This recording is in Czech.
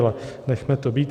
Ale nechme to být.